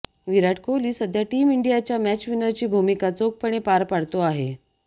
विराट कोहली सध्या टीम इंडियाच्या मॅचविनरची भूमिका चोखपण पार पाडतो आहे